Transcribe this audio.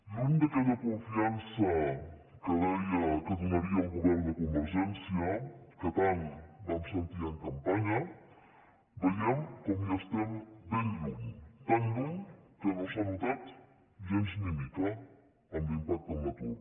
lluny d’aquella confiança que deia que donaria el govern de convergència que tant vam sentir en campanya veiem com hi estem ben lluny tan lluny que no s’ha notat gens ni mica en l’impacte en l’atur